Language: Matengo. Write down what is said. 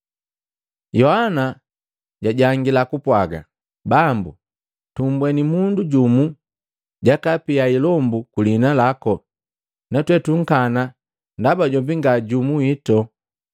Yohana jajangila kupwaga, “Bambu, tumbweni mundu jumu jakaapia ilombu kulihina lako natwe tunkana ndaba jombi nga jumu wito.”